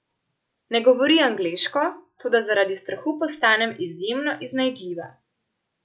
Ne govori angleško, toda zaradi strahu postanem izjemno iznajdljiva.